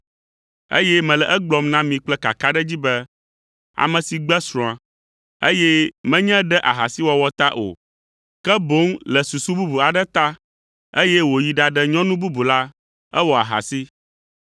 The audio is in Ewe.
eye mele egblɔm na mi kple kakaɖedzi be, ame si gbe srɔ̃a, eye menye ɖe ahasiwɔwɔ ta o, ke boŋ le susu bubu aɖe ta, eye wòyi ɖaɖe nyɔnu bubu la, ewɔ ahasi.”